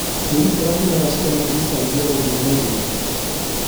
mũgithi ũrakinya thaa cigana kuuma San Diego nginya north hwood